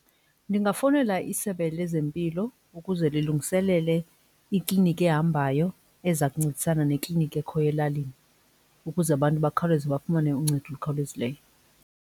Ndingafowunela isebe lezempilo ukuze lilungiselele ikliniki ehambayo eza kuncedisana nekliniki ekhoyo elalini ukuze abantu bakhawuleze bafumane uncedo olukhawulezileyo.